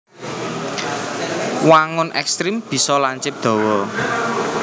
Wangun ekstremé bisa lancip dawa